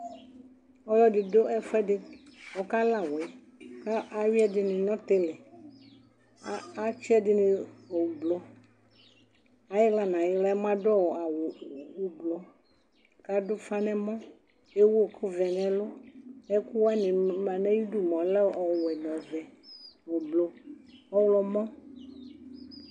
ɔlɔdi du ɛfuɛdi kala awɛ atsi ɛdini nu ɔtili ɛdini ublu ayi ɣla adu awu ublu kadu ufa nu ɛmɔ ewu ɛku vɛ nu ɛlu ɛkuwa ma nu ayidu lɛ ɔvɛ nu ɔwɛ ublu ɔɣlomɔ